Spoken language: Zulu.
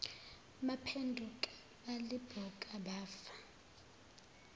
baphenduka balibuka bafa